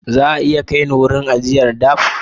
Za a iya kai ni wurin ajiyar dabb?